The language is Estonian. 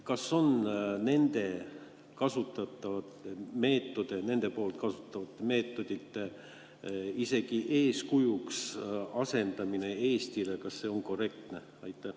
Kas nende kasutatavate meetodite isegi eeskujuks seadmine Eestile on korrektne?